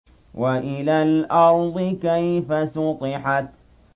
وَإِلَى الْأَرْضِ كَيْفَ سُطِحَتْ